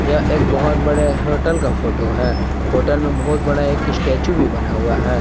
यह एक बहुत बड़े होटल का फोटो है होटल में बहुत बड़ा एक स्टैचू भी बना हुआ है।